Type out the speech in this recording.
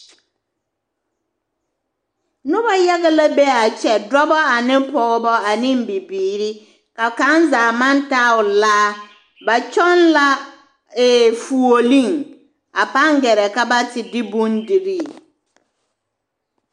Noba yaga la be a kyɛ dɔba ane pɔgeba ane bibiiri ka kaŋ zaa maŋ taa o laa ba kyɔŋ la ee fuoleŋ a paa gɛrɛ ka be te de bondirii.